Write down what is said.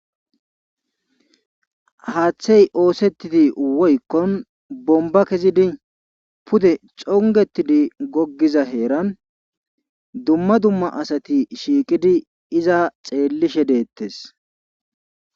Haathey oosettidi woykkon bombba kezidi pude xonggettidi goggiza heeran dumma dumma asati shiiqidi iza xeellishe deettes.